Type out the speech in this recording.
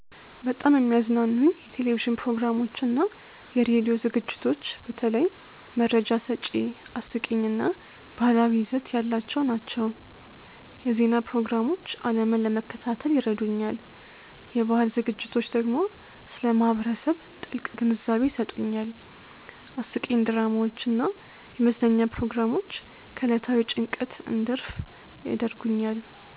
በጣም የሚያዝናኑኝ የቴሌቪዥን ፕሮግራሞችና የራዲዮ ዝግጅቶች በተለይ መረጃ ሰጪ፣ አስቂኝ እና ባህላዊ ይዘት ያላቸው ናቸው። የዜና ፕሮግራሞች ዓለምን ለመከታተል ይረዱኛል፣ የባህል ዝግጅቶች ደግሞ ስለ ማህበረሰብ ጥልቅ ግንዛቤ ይሰጡኛል። አስቂኝ ድራማዎች እና የመዝናኛ ፕሮግራሞች ከዕለታዊ ጭንቀት እንድረፍ ያደርጉኛል።